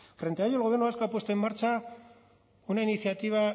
frente a ello el gobierno vasco ha puesto en marcha una iniciativa